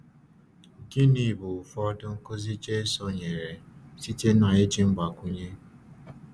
Gịnị bụ ụfọdụ nkuzi Jésù nyere site n’iji mgbakwunye?